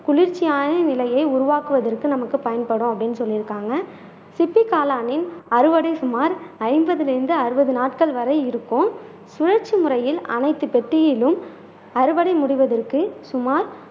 குளிர்ச்சியான நிலையை உருவாக்குவதற்கு நமக்கு பயன்படும் அப்படின்னு சொல்லி இருக்காங்க சிப்பி காளானின் அறுவடை சுமார் ஐம்பதிலிருந்து அறுபது நாட்கள் வரை இருக்கும் சுழற்சி முறையில் அனைத்து பெட்டியிலும் அறுவடை முடிவதற்கு சுமார்